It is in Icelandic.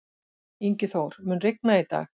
Ingiþór, mun rigna í dag?